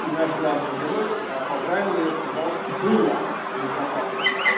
и наш главный герой поправил сказал было безопасно